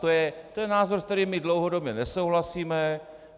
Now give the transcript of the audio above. To je názor, s kterým my dlouhodobě nesouhlasíme.